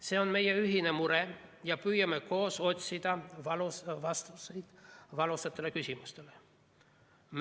See on meie ühine mure ja püüame koos otsida vastuseid valusatele küsimustele.